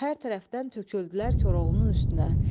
Hər tərəfdən töküldülər Koroğlunun üstünə.